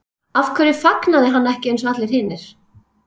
Af hverju fagnaði hann ekki eins og allir hinir?